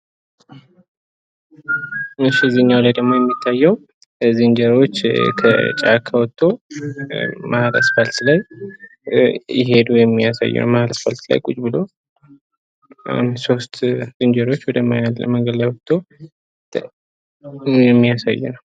ከዚህኛው ደግሞ የሚታዬው ዝንጀሮዎች ከጫካ ወጠው መሃል አስፋልት ላይ እየሄዱ የሚያሳይ ነው። መሃል አስፋልት ላይ አንድ ሶስት ዝንጀሮዎች ቁጭ ብሎ ወደ ዳር ወጦ የሚያሳይ ነው።